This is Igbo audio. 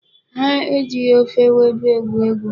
Ha e jighị ofe ewedu egwu egwu.